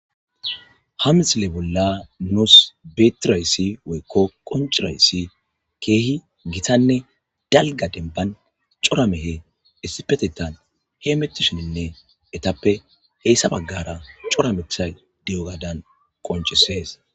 ha misile bolla nuus betirayssi woykko qoncurayssi keehi gitanne dalga demban coramehe issipetetan hee mettushininne etappe heyssa baggara cora methay di7o gaadan qoncisees